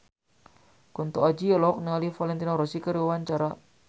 Kunto Aji olohok ningali Valentino Rossi keur diwawancara